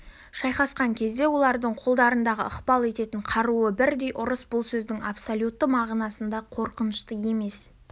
шайқасқан кезде олардың қолдарындағы ықпал ететін қаруы бірдей ұрыс бұл сөздің абсолютті мағынасында қорқынышты емес